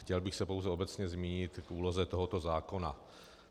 Chtěl bych se pouze obecně zmínit k úloze tohoto zákona.